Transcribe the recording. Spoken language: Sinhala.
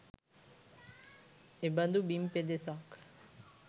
එබඳු බිම් පෙදෙසක්